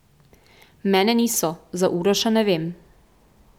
Mene niso, za Uroša ne vem.